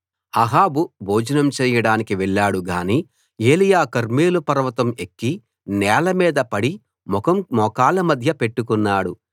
అహాబు భోజనం చేయడానికి వెళ్ళాడు గాని ఏలీయా కర్మెలు పర్వతం ఎక్కి నేలమీద పడి ముఖం మోకాళ్ల మధ్య పెట్టుకున్నాడు